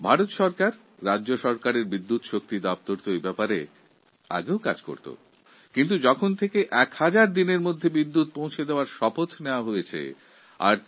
ভারত ও বিভিন্ন রাজ্যসরকারের বিদ্যুৎ দপ্তর আগেও কাজ করত কিন্তু এখন ১০০০ দিনের মধ্যে প্রতিটি গ্রামে বিদ্যুৎ পৌঁছনোর সংকল্প আমরা নিয়েছি